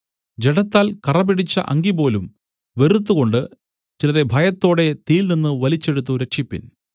ജഡത്താൽ കറപിടിച്ച അങ്കിപോലും വെറുത്തുകൊണ്ട് ചിലരെ ഭയത്തോടെ തീയിൽനിന്നും വലിച്ചെടുത്ത് രക്ഷിപ്പിൻ